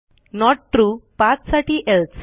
note Trueपाथसाठी else